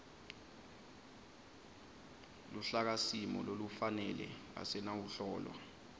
luhlakasimo lolufanele asinawuhlolwa